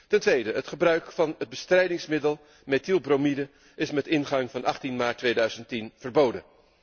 Ten tweede, het gebruik van het bestrijdingsmiddel methylbromide is met ingang van 18 maart 2010 verboden.